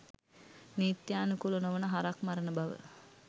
නිත්‍යානුකුල නොවන හරක් මරණ බව.